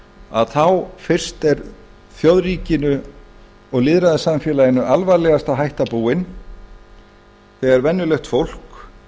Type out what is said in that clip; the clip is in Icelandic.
að þá fyrst er þjóðríkinu og lýðræðissamfélaginu alvarlegasta hætta búin þegar venjulegt fólk